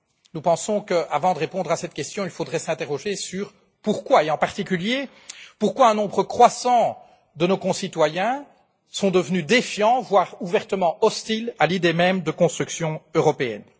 Nous pensons qu'avant de répondre à cette question, il faudrait s'interroger sur le pourquoi, et en particulier pourquoi un nombre croissant de nos concitoyens sont devenus défiants, voire ouvertement hostiles à l'idée même de construction européenne.